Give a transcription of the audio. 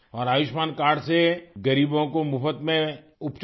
और आयुष्मान कार्ड से गरीबों को मुफ्त में उपचार